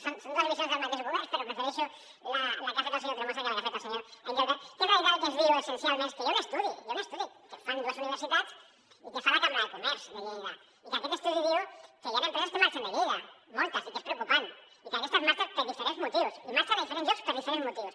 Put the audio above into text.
són dues visions del mateix govern però prefereixo la que ha fet el senyor tremosa que la que ha fet el senyor engelbert que en realitat el que ens diu essencialment és que hi ha un estudi hi ha un estudi que fan dues universitats i que fa la cambra de comerç de lleida i que aquest estudi diu que hi han empreses que marxen de lleida moltes i que és preocupant i que aquestes marxen per diferents motius i marxen a diferents llocs per diferents motius